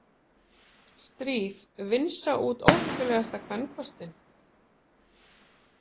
Stríð vinsa út óheppilegasta kvenkostinn